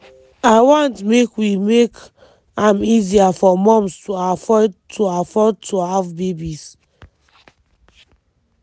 “i want make we make am easier for moms to afford to afford to have babies.